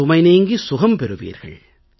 சுமைநீங்கி சுகம் பெறுவீர்கள்